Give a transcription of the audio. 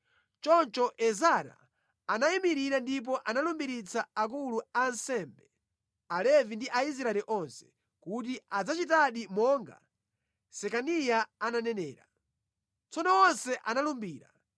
Choncho Ezara anayimirira ndipo analumbiritsa akulu a ansembe, Alevi ndi Aisraeli onse, kuti adzachitedi monga Sekaniya ananenera. Tsono onse analumbira.